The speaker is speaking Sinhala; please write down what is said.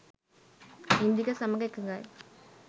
ඉන්දික සමඟ එකගයි.